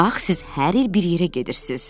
Bax siz hər il bir yerə gedirsiz.